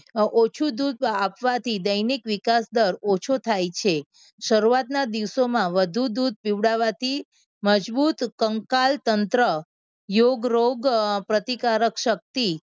ઓછું દૂધ આપવાથી દૈનિક વિકાસ દર ઓછો થાય છે. શરૂઆતના દિવસોમાં વધુ દૂધ પીવડાવવાથી મજબૂત કંકાલ તંત્ર, યોગ, રોગ, પ્રતિકારક શક્તિ